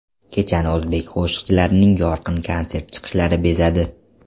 Kechani o‘zbek qo‘shiqchilarining yorqin konsert chiqishlari bezadi.